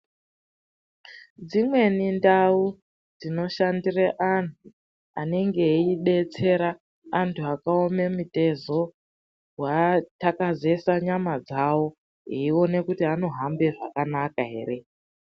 Dzimweni ndau dzinoshandire anhu anenge eidetsera antu akaoma mitezo, kuathakazesa nyama dzavo eione kuti anohambe zvakanaka ere.